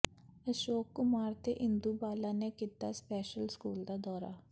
ਅਸ਼ੋਕ ਕੁਮਾਰ ਤੇ ਇੰਦੂ ਬਾਲਾ ਨੇ ਕੀਤਾ ਸਪੈਸ਼ਲ ਸਕੂਲ ਦਾ ਦੌਰਾ